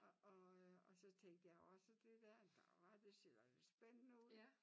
Og og øh og så tænkte jeg og så det der ah det ser da spændende ud